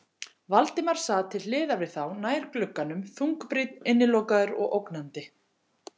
Valdimar sat til hliðar við þá, nær glugganum, þungbrýnn, innilokaður og ógnandi.